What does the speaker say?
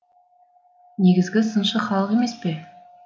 негізгі сыншы халық емес пе